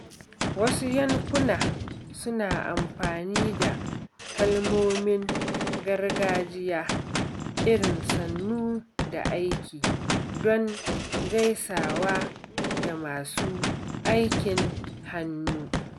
Wasu yankuna suna amfani da kalmomin gargajiya irin "Sannu da aiki" don gaisawa da masu aikin hannu.